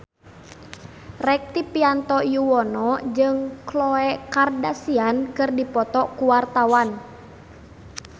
Rektivianto Yoewono jeung Khloe Kardashian keur dipoto ku wartawan